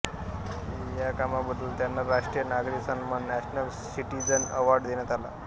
या कामाबद्दल त्यांना राष्ट्रीय नागरी सन्मान नॅशनल सिटीझन अवार्ड देण्यात आला